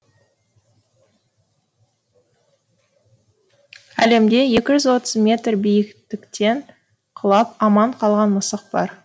әлемде екі жүз отыз метр биіктіктен құлап аман қалған мысық бар